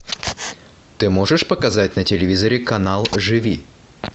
ты можешь показать на телевизоре канал живи